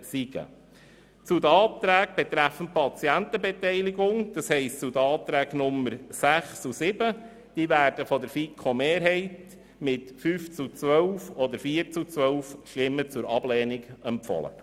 Die Anträge betreffend Patientenbeteiligung, also die Anträge 6 und 7, werden von der Mehrheit der FiKo mit 5 zu 12 oder 4 zu 12 Stimmen zur Ablehnung empfohlen.